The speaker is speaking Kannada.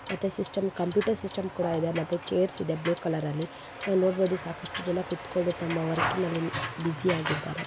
ಮತ್ತೆ ಸಿಸ್ಟಂ ಕಂಪ್ಯೂಟರ್ ಸಿಸ್ಟಂ ಕೂಡ ಇದೆ ಮತ್ತೆ ಛೈರ್ಸ್ ಇದೆ ಬ್ಲ್ಯೂ ಕಲರ್ ಅಲ್ಲಿ ನಾವು ನೋಡಬಹುದು ಸಾಕಷ್ಟು ಜನ ಕೂತ್ಕೊಂಡು ತಮ್ಮ ವರ್ಕ್ ನಲ್ಲಿ ಬೂಸಿ ಆಗಿದ್ದಾರೆ.